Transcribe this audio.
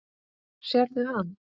Sérðu hann?